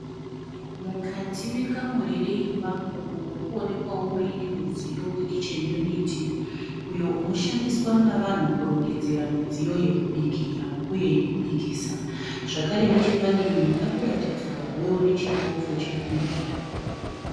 Mukati mekamuri reimba umo muri kuonekwawo muine mudziyo wekicheni yuniti uyo unoshandiswa navanhu kurongedzera mudziyo yokubikira uye yekubikisa. Zvakare nechepadivi pari kuratidzika kuvewo nechitofu chokubikira.